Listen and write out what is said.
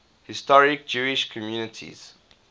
historic jewish communities